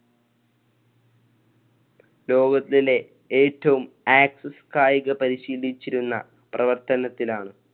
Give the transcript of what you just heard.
ലോകത്തിലെ ഏറ്റവും access കായിക പരിശീലിചിലരുന്ന പ്രവർത്തനത്തിലാണ്.